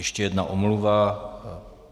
Ještě jedna omluva.